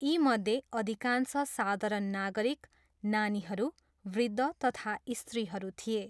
यीमध्ये अधिकांश साधारण नागरिक, नानीहरू, वृद्ध तथा स्त्रीहरू थिए।